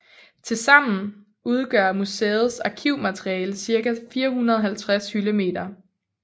Til sammen udgør museets arkivmateriale ca 450 hyldemeter